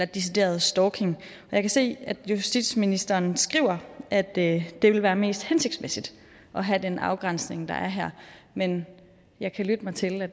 decideret stalking jeg kan se at justitsministeren skriver at det vil være mest hensigtsmæssigt at have den afgrænsning der er her men jeg kan lytte mig til at